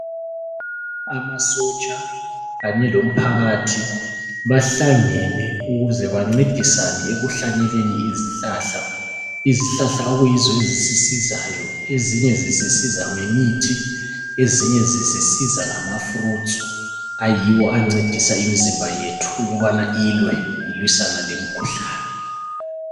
Amasotsha kanye lomphakathi bahlangene ukuze bancedisane ekuhlanyeleni izihlahla. Izihlahla okuyizo ezisisizayo, ezinye zisisiza ngemithi ezinye zisisiza ngamfrutsu ayiyo ancedisa imizimba yethu ukubana ilwe ilwisana lemikhuhlane.